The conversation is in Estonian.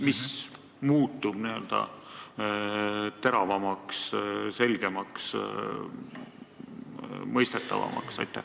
Mis muutub teravamaks, selgemaks, mõistetavamaks?